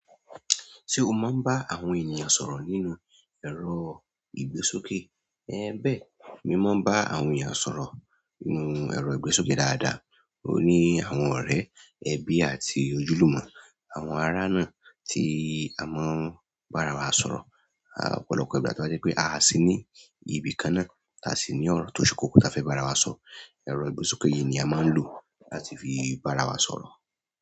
Ṣé o máa ń bá àwọn ènìyàn sọ̀rọ̀ nínú ẹ̀rọ ìgbésókè? Ẹẹ bẹ́ẹ̀, mi máa ń bá àwọn ènìyàn sọ̀rọ̀ nínú ẹ̀rọ ìgbésókè dáadáa. Ó ní àwọn ọ̀rẹ́, ẹbí àti ojúlùmọ̀. Àwọn ará náà tí a máa ń bára wa sọ̀rọ̀. Ọ̀pọ̀lọpọ̀ ìgbà tó bá jẹ́ pé aà sì ní ibi kan náà, táa sì ní ọ̀rọ̀ tó ṣe kókó táa fẹ́ bá ara wa sọ. Ẹ̀rọ ìgbésókè yìí ni a máa ń lò láti fi bára wa sọ̀rọ̀.